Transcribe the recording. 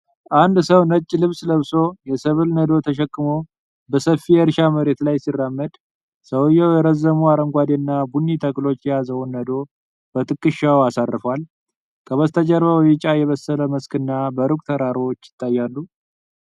አንድ ሰው ነጭ ልብስ ለብሶ፣ የሰብል ነዶ ተሸክሞ በሰፊ የእርሻ መሬት ላይ ሲራመድ ። ሰውየው የረዘሙ አረንጓዴና ቡኒ ተክሎች የያዘውን ነዶ በትከሻው አሳርፏል። ከበስተጀርባ በቢጫ የበሰለ መስክና በሩቅ ተራሮች ይታያሉ።